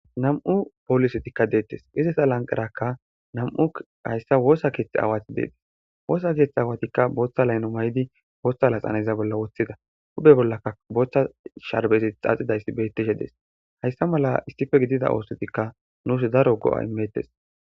Nam7u poolisetikka deettes ize sa lanqarakka nam7u hayssa woosa keeththe aawati deetis woosa keeththe awatikka booththa layno may7di wooththa laxaneza bolla woththida huphe bollaka booththa sharbezit xaaxidayssi bettishe dees hayssa mala istife gidida oosotikka nuus daro go7a imettes.